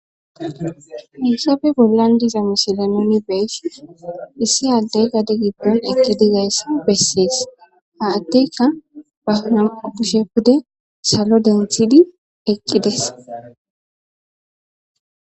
Hayisafe bollan diza mishile noni beysh issi aaddey gade giddon eqqidizayss bessees ha atteka bahanaa bushe pude salo denthidi eqqides